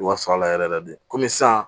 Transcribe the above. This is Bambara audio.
Wa sɔrɔ ala yɛrɛ yɛrɛ de komi sisan